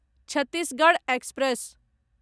Chhattisgarh express